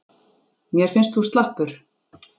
Mér finnst þú slappur.